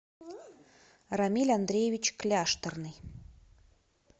рамиль андреевич кляшторный